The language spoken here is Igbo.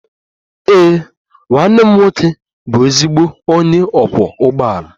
Ee, nwanne m nwoke bụ ezigbo onye ọkwọ ụgbọala.